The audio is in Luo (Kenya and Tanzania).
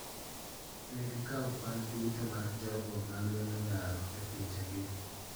Ne gi kawo kwan duto mar jogo ma lweny odaro e pinje gi.